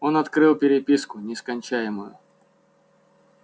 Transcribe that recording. он открыл переписку нескончаемую